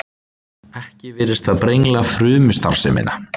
Ekki virðist það brengla frumustarfsemina.